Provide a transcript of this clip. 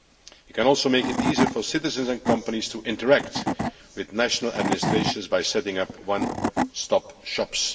We can also make it easier for citizens and companies to interact with national administrations by setting up one stop shops.